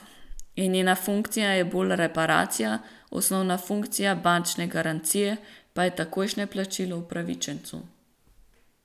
In njena funkcija je bolj reparacija, osnovna funkcija bančne garancije pa je takojšnje plačilo upravičencu.